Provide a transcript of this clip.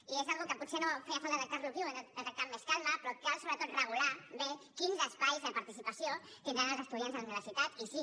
i és alguna cosa que potser no feia falta tractar ho aquí ho hem de tractar amb més calma però cal sobretot regular bé quins espais de participació tindran els estudiants de la universitat i sí